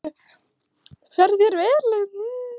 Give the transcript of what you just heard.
Fer þér vel!